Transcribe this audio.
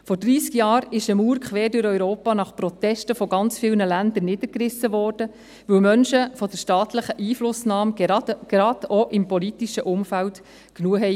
Vor dreissig Jahren wurde eine Mauer quer durch Europa nach Protesten ganz vieler Länder niedergerissen, weil Menschen von der staatlichen Einflussnahme, gerade auch im politischen Umfeld, genug hatten.